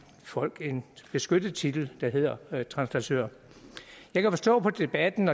folk en beskyttet titel der hedder translatør jeg kan forstå på debatten